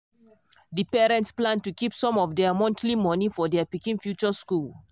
di parents plan to keep some of their monthly money for their pikin future school.